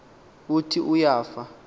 uthi uya fa